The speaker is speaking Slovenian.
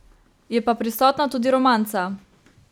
Je pa prisotna tudi romanca.